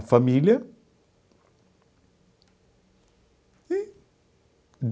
A família e.